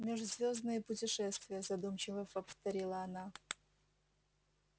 межзвёздные путешествия задумчиво повторила она